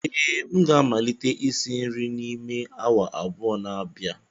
ee, m ga-amalite isi nri n'ime awa abụọ n'abịa